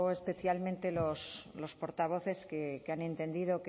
especialmente los portavoces que han entendido